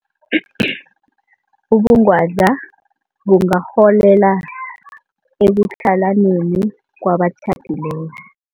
Ubungwadla bungarholela ekutlhalaneni kwabatjhadileko.